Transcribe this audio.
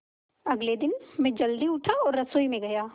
अगले दिन मैं जल्दी उठा और रसोई में गया